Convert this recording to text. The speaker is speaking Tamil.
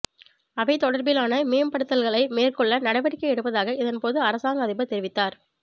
அவை தொடர்பிலான மேம்படுத்தல்களை மேற்கொள்ள நடவடிக்கை எடுப்பதாக இதன்போது அரசாங்க அதிபர் தெரிவித்தார்